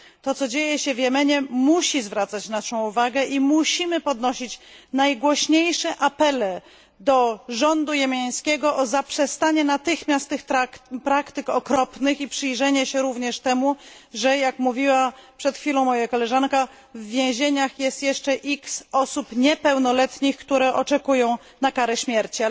To, co dzieje się w Jemenie musi zwracać naszą uwagę i musimy podnosić najgłośniejsze apele do rządu jemeńskiego o zaprzestanie natychmiast tych praktyk okropnych i przyjrzenie się również temu, że jak mówiła przed chwilą moja koleżanka w więzieniach jest jeszcze x osób niepełnoletnich, które oczekują na karę śmierci.